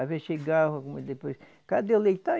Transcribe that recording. Às vezes chegava, depois, cadê o leite? Está aí